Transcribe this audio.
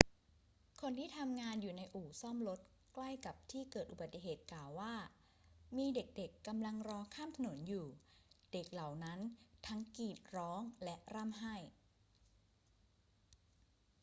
คนที่ทำงานอยู่ในอู่ซ่อมรถใกล้กับที่เกิดอุบัติเหตุกล่าวว่า มีเด็ก ๆ กำลังรอข้ามถนนอยู่ เด็กเหล่านั้นทั้งกรีดร้องและร่ำไห้